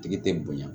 Tigi tɛ bonya